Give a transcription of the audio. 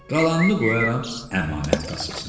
Qalanını qoyaram əmanət kassasına.